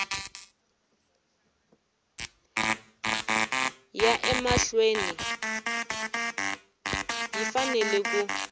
ya emahlweni yi fanele ku